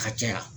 Ka caya